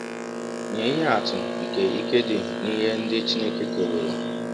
Nye ihe atụ nke ike dị n’ihe ndị Chineke keworo .:-